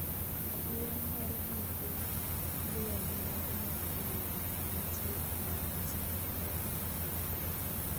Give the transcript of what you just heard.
Adiya mar gige lweny mar nuklia nitie ewi mesa Korea ma Milambo